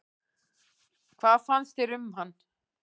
Hvað fannst þér um hann?